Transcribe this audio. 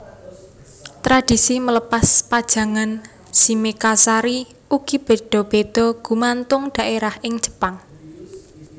Tradisi melepas pajangan shimekazari ugi béda béda gumantung dhaérah ing Jepang